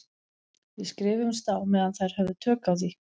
Við skrifuðumst á meðan þær höfðu tök á því.